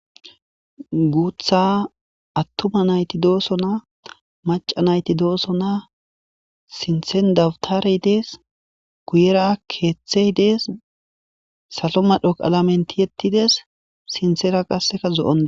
guutha attuma nayti dooso maca nayti doosona sinthen dawtarey dees kuuyera keeththey dees salo madhoqalamen tiyettides sinsera qasseka zo7ona